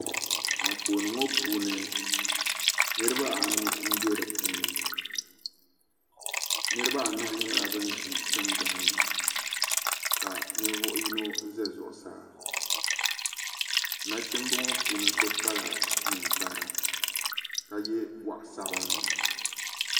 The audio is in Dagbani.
Anfooni ŋo puuni niraba anu n bɛ dipuuni niraba anahi nyɛla bin ʒi tingbanni ka ninvuɣu yino ʒɛ zuɣusaa nachimbi ŋo so puuni yino kpala ninkpara ka yɛ goɣa sabinli